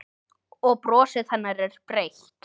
Og brosið hennar er breitt.